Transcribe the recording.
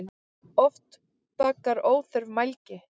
Oft bagar óþörf mælgi.